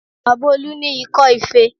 Baba Olu ní ikọ́ ife